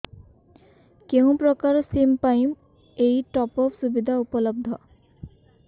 କେଉଁ ପ୍ରକାର ସିମ୍ ପାଇଁ ଏଇ ଟପ୍ଅପ୍ ସୁବିଧା ଉପଲବ୍ଧ